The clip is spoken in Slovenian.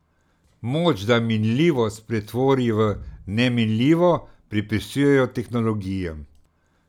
Moč, da minljivost pretvori v neminljivo, pripisujejo tehnologijam.